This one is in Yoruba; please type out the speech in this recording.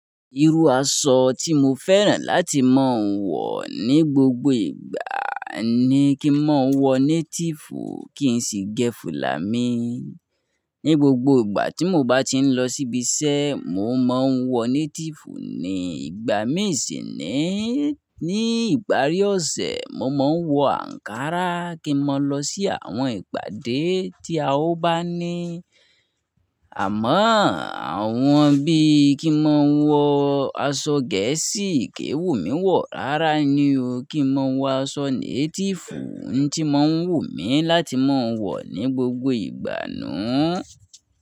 Irú aṣọ tí mo fẹ́ràn láti máa ń wọ̀ ní gbogbo ìgbà ni kí n máa ń wọ native kì n sì gẹ filà mi. Ni gbogbo ìgbà tí mo bá ti ń lọ síbi iṣẹ́, mo máa ń wọ native ni. Ìgbà mí ṣíni, ni ìparí ọ̀sẹ̀, mo máa ń wọ ankara kí n máa lọ sí àwọn ìpàdé tí a ó bá ní. Àmọ́ àwọn bí i kí n máa ń wọ aṣọ gẹ̀ẹ́sì, kì n wù mí wọ̀ rárá ni o. Kí n máa wọ aṣọ native ohun tí mo ń wù mí láti máa ń wọ̀ ní gbogbo ìgbà nu u.